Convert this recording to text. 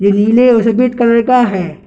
जो नीले और सफेद कलर का है।